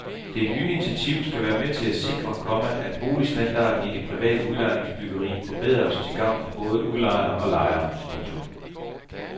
Det nye initiativ skal være med til at sikre, komma at boligstandarden i det private udlejningsbyggeri forbedres til gavn for både udlejere og lejere. punktum